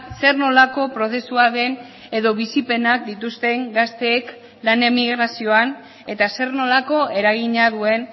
zer nolako prozesua den edo bizipenak dituzten gazteek lan emigrazioan eta zer nolako eragina duen